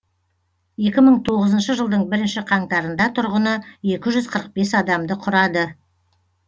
екі мың тоғызыншы жылдың бірінші қаңтарында тұрғыны екі жүз қырық бес адамды құрады